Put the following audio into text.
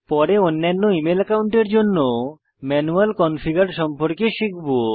পরে অন্যান্য ইমেল একাউন্টের জন্য ম্যানুয়াল কনফিগার সম্পর্কে শিখব